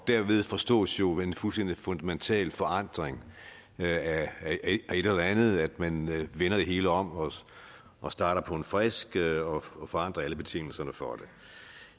derved forstås jo en fuldstændig fundamental forandring af et eller andet at man vender det hele om og starter på en frisk og forandrer alle betingelserne for det